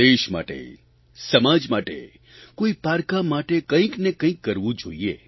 દેશ માટે સમાજ માટે કોઇ પારકા માટે કંઇકને કંઇક કરવું જોઇએ